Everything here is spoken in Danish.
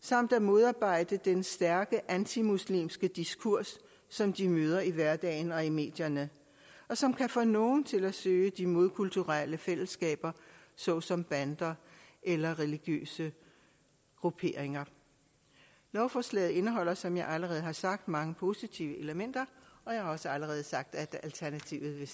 samt at modarbejde den stærke antimuslimske diskurs som de møder i hverdagen og i medierne og som kan få nogle til at søge de modkulturelle fællesskaber såsom bander eller religiøse grupperinger lovforslaget indeholder som jeg allerede har sagt mange positive elementer og jeg har også allerede sagt at alternativet